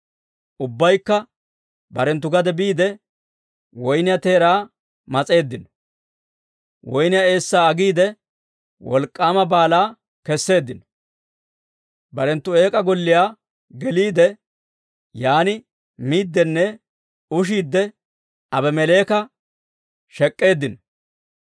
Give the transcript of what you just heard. Ubbaykka barenttu gade biide, woyniyaa teeraa mas'eeddino; Woynniyaa eessaa agiide, wolk'k'aama baalaa kesseeddino. Barenttu eek'aa golliyaa geliide, yaan miiddinne ushiidde Aabimeleeka shek'k'eeddino.